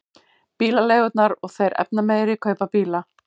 Bílaleigurnar og þeir efnameiri kaupa bíla